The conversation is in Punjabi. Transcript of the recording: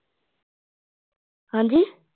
ਹਾਂਜੀ